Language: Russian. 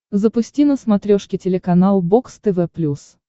запусти на смотрешке телеканал бокс тв плюс